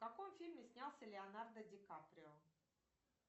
в каком фильме снялся леонардо ди каприо